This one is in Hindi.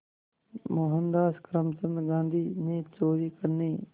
मोहनदास करमचंद गांधी ने चोरी करने